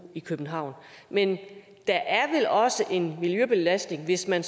i københavn men der er vel også en miljøbelastning hvis man